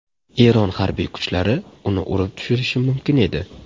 Eron harbiy kuchlari uni urib tushirishi mumkin edi.